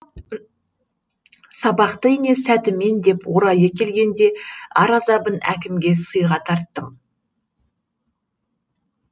сабақты ине сәтімен деп орайы келгенде ар азабын әкімге сыйға тарттым